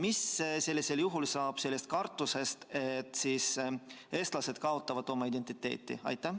Mis saab sellisel juhul kartusest, et siis eestlased kaotavad oma identiteedi?